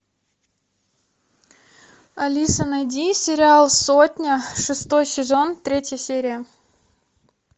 алиса найди сериал сотня шестой сезон третья серия